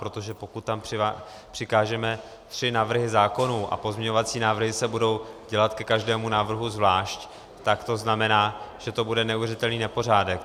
Protože pokud tam přikážeme tři návrhy zákonů a pozměňovací návrhy se budou dělat ke každému návrhu zvlášť, tak to znamená, že to bude neuvěřitelný nepořádek.